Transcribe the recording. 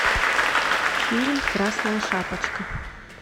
фильм красная шапочка